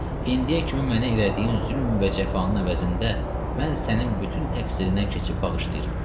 İndiyə kimi mənə elədiyin zülmün və cəfanın əvəzində mən sənin bütün təqsirindən keçib bağışlayıram.